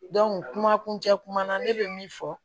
kuma kuncɛ kuma na ne bɛ min fɔ